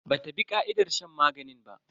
Bata bi ka'idar shan maganin ba.